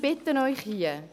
Ich bitte Sie: